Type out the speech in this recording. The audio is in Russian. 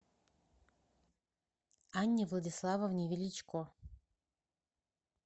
анне владиславовне величко